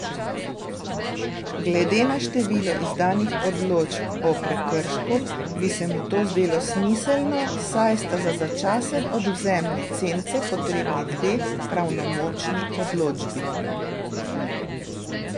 Glede na število izdanih odločb o prekršku bi se mu to zdelo smiselno, saj sta za začasen odvzem licence potrebni dve pravnomočni odločbi.